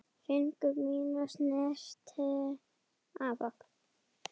Fingur mínir snerta blóð þitt.